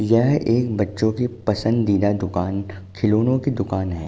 यह एक बच्चों की पसंदीदा दुकान खिलौने की दुकान हैं।